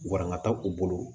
Waranga ta u bolo